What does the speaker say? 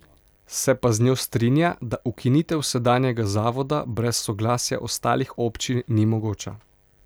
Se pa z njo strinja, da ukinitev sedanjega zavoda brez soglasja ostalih občin ni mogoča.